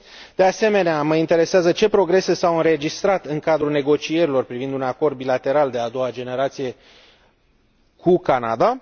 De asemenea, mă interesează ce progrese s au înregistrat în cadrul negocierilor privind un acord bilateral de a doua generație cu Canada?